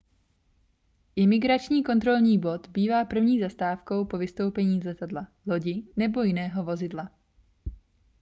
imigrační kontrolní bod bývá první zastávkou po vystoupení z letadla lodi nebo jiného vozidla